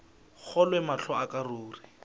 kgolwe mahlo a ka ruri